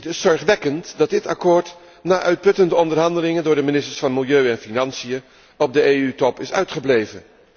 Het is zorgwekkend dat dit akkoord na uitputtende onderhandelingen door de ministers van Milieu en Financiën, op de EU top is uitgebleven.